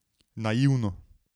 Naivno.